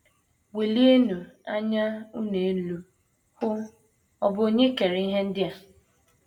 “ Welienụ anya unu elu, hụ: ọ̀ bụ Onye kere ihe ndị a?